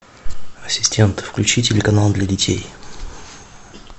ассистент включи телеканал для детей